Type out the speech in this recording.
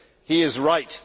He is right.